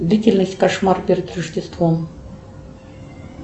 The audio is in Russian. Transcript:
длительность кошмар перед рождеством